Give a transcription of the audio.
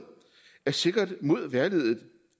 er sikret mod vejrliget